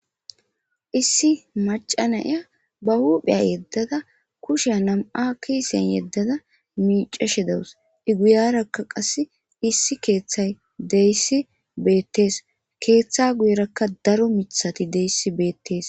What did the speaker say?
Issi macca na7iya ba huuphiya yeddada kushiya nam7a kiisen yeddada mioccashe dawus. iguyaarakka qasse issi keethay diyayssi beettides.keetha guyerakka daro mithati deess.